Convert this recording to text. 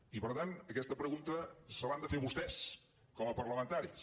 i per tant aquesta pregunta se l’han de fer vostès com a parlamentaris